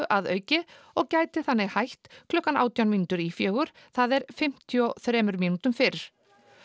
að auki og gæti þannig hætt klukkan átján mínútur í fjögur það er fimmtíu og þremur mínútum fyrr